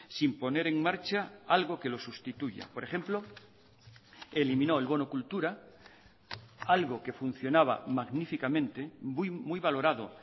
sin poner en marcha algo que lo sustituya por ejemplo eliminó el bono cultura algo que funcionaba magníficamente muy valorado